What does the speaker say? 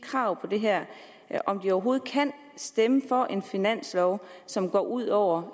krav her om de overhovedet kan stemme for en finanslov som går ud over